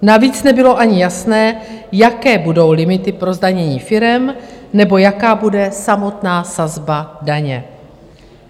Navíc nebylo ani jasné, jaké budou limity pro zdanění firem nebo jaká bude samotná sazba daně.